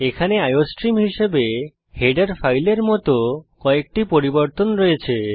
এখানে আইওস্ট্রিম হিসেবে হেডার ফাইলের মত কয়েকটি পরিবর্তন আছে